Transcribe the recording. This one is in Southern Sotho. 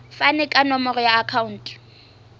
fane ka nomoro ya akhauntu